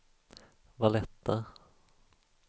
Valletta